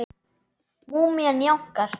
Múmían jánkar.